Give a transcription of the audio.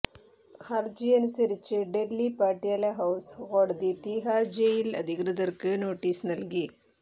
ഹര്ജിയനുസരിച്ച് Delhi Patiala house കോടതി തീഹാർ ജയിൽ അധികൃതർക്ക് നോട്ടീസ് നൽകി